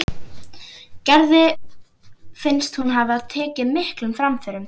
Gerði finnst hún hafa tekið miklum framförum þennan vetur.